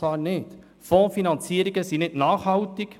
Fondsfinanzierungen sind nicht nachhaltig.